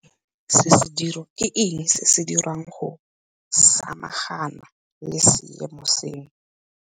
Ke eng se se diriwang go samagana le seemo seno?